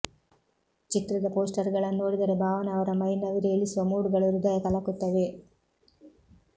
ಚಿತ್ರದ ಪೋಸ್ಟರ್ಗಳನ್ನು ನೋಡಿದರೆ ಭಾವನಾ ಅವರ ಮೈನವಿರೇಳಿಸುವ ಮೂಡ್ಗಳು ಹೃದಯ ಕಲಕುತ್ತವೆ